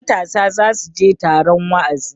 matasa za su je taron wa'azi